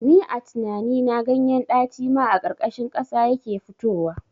Ni a tinani na ganyen ɗaci ma a ƙarƙashin ƙasa yake fitowa